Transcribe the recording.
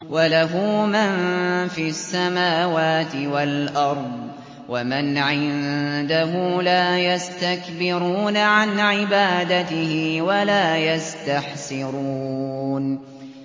وَلَهُ مَن فِي السَّمَاوَاتِ وَالْأَرْضِ ۚ وَمَنْ عِندَهُ لَا يَسْتَكْبِرُونَ عَنْ عِبَادَتِهِ وَلَا يَسْتَحْسِرُونَ